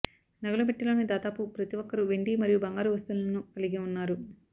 నగల పెట్టెలోని దాదాపు ప్రతి ఒక్కరు వెండి మరియు బంగారు వస్తువులను కలిగి ఉన్నారు